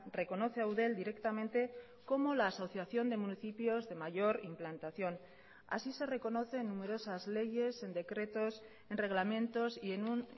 reconoce a eudel directamente como la asociación de municipios de mayor implantación así se reconoce en numerosas leyes en decretos en reglamentos y en un